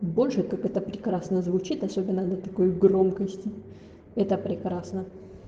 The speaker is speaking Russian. больше как это прекрасно звучит особенно да такой громкости это прекрасно